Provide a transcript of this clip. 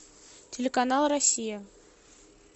телеканал россия